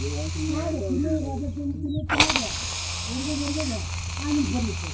కాదు తినేది తినేదే ఆడ్నుంచి పరిగెత్తేది.